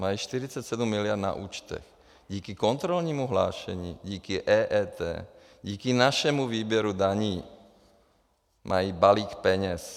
Mají 47 miliard na účtech díky kontrolnímu hlášení, díky EET, díky našemu výběru daní mají balík peněz.